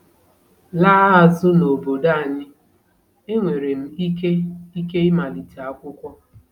Laa azụ n'obodo anyị, enwere m ike ike ịmalite akwụkwọ.